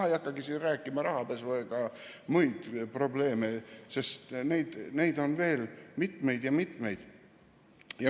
Ma ei hakka siin rääkima rahapesust ega muudest probleemidest, neid on veel mitmeid ja mitmeid.